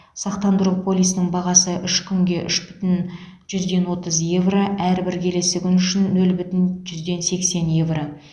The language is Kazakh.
сақтандыру полисінің бағасы үш күнге үш бүтін жүзден отыз евро әрбір келесі күн үшін нөл бүтін жүзден сексен евро